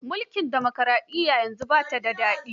Mulkin dimokaraɗiyyar yanzu ba ta da daɗi.